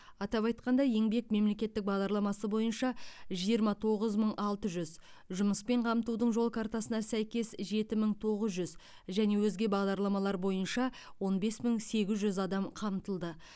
атап айтқанда еңбек мемлекеттік бағдарламасы бойынша жиырма тоғыз мың алты жүз жұмыспен қамтудың жол картасына сәйкес жеті мың тоғыз жүз және өзге бағдарламалар бойынша он бес мың сегіз жүз адам қамтылды